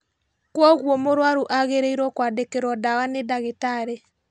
Kwoguo mũrũaru agĩrĩirwo kwandĩkĩrwo ndawa nĩ ndagĩtarĩ